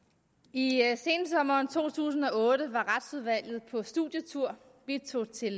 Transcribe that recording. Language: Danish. i sensommeren to tusind og otte var retsudvalget på studietur vi tog til